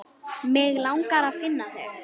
Mig langar að finna þig.